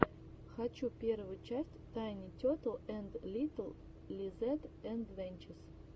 хочу первую часть тайни тетл энд литл лизэд адвенчез